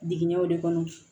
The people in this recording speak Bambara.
Jiginɲɛw de kɔnɔ